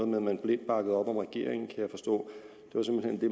med at man blindt bakkede op om regeringen kan jeg forstå